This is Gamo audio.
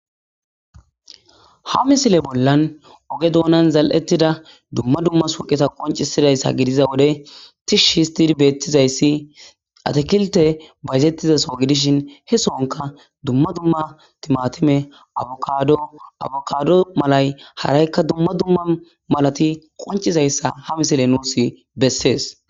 Ha misile bolla oge dunan zal'etida dumma dumma suqeta concisizaysa gidiza wode Tish histid betizays atekiltey bayzetiza sohoy dishin he sohanka dumma timatime,abokado malay haraykka dumma dumma malati qoncizayasa ha misiley nuus beses.